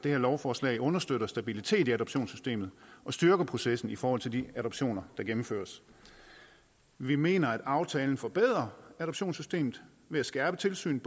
det her lovforslag understøtter stabilitet i adoptionssystemet og styrker processen i forhold til de adoptioner der gennemføres vi mener at aftalen forbedrer adoptionssystemet ved at skærpe tilsynet